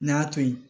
N y'a to yen